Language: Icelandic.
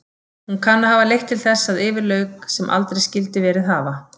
Hún kann að hafa leitt til þess að yfir lauk sem aldrei skyldi verið hafa.